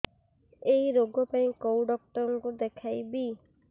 ଏଇ ରୋଗ ପାଇଁ କଉ ଡ଼ାକ୍ତର ଙ୍କୁ ଦେଖେଇବି